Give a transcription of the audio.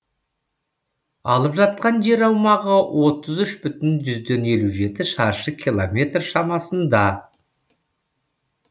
алып жатқан жер аумағы отыз үш бүтін жүзден елу жеті шаршы километр шамасында